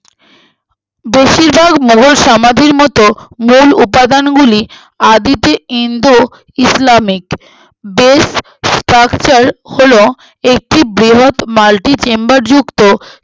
বেশির ভাগ মুঘল সমাধির মতো মূল উপাদানগুলি আদিতে ইন্দো ইসলামিক best structure হলো একটি বৃহৎ মালদ্বীপ chamber যুক্ত